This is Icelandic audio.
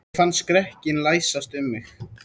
Ég fann skrekkinn læsast um mig.